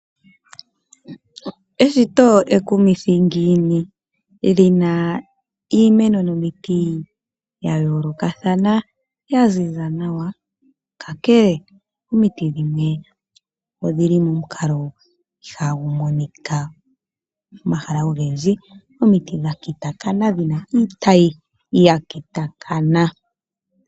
Eshito ekumithi ngiini lina iimeno nomiti ya yoolokothana yaziza nawa, ka kele omiti dhimwe odhili monkalo ihagu monika olundji, dhakitakana dhina iitayi yakitakana.